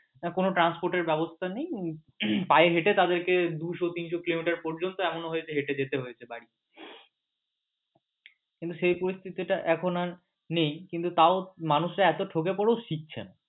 না কোন transport এর ব্যবস্থা নেই পায়ে হেঁটে আমাদেরকে দুশো তিনশো কিলোমিটার পর্যন্ত এমনও হয়েছে হেঁটে যেতে হয়েছে বাড়ি কিন্তু সেই পরিস্থিতি টা এখন আর নেই কিন্তু তাও মানুষ এতো ঠেকে পরেও শিকছে না।